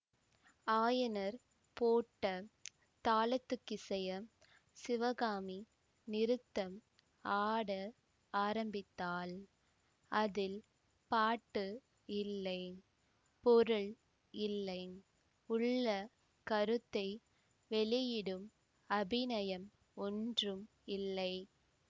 ஆயனர் போட்ட தாளத்துக்கிசைய சிவகாமி நிருத்தம் ஆட ஆரம்பித்தாள் அதில் பாட்டு இல்லை பொருள் இல்லை உள்ள கருத்தை வெளியிடும் அபிநயம் ஒன்றும் இல்லை